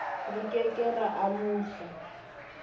re ke ke ra amohla